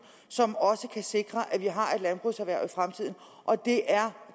som også kan sikre at vi har et landbrugserhverv i fremtiden og det er